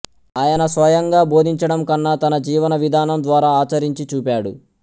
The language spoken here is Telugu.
ఆయన స్వయంగా బోధించడం కన్నా తన జీవన విధానం ద్వారా ఆచరించి చూపాడు